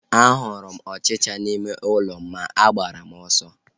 A hụrụ m ọchịchịa n'ime ụlọ m ma agbara m ọsọ